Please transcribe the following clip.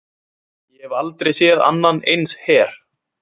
Ég hef aldrei séð annan eins her.